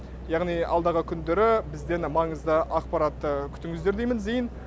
яғни алдағы күндері бізден маңызды ақпарат күтіңіздер деймін зейін